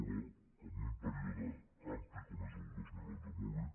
però en un període ampli com és el del dos mil onze molt bé